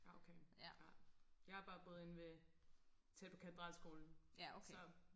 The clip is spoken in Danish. ja okay ja jeg har bare boet inde ved tæt på katedralskolen så